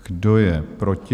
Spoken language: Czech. Kdo je proti?